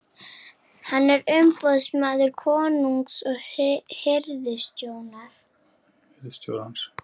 Hann er umboðsmaður konungs og hirðstjórans.